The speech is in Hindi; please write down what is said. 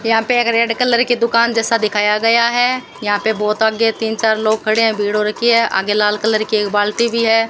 यहां पे एक रेड कलर की दुकान जैसा दिखाया गया है यहां पे बहुत आगे तीन चार लोग खड़े हैं भीड़ हो रखी है आगे लाल कलर की एक बाल्टी भी है।